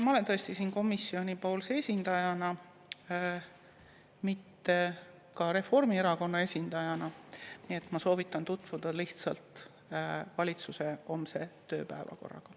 Ma olen tõesti siin komisjonipoolse esindajana, mitte ka Reformierakonna esindajana, nii et ma soovitan tutvuda lihtsalt valitsuse homse tööpäevakorraga.